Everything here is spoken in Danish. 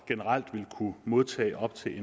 generelt vil kunne modtage op til